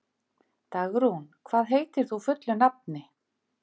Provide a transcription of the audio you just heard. Dagrún, hvað heitir þú fullu nafni?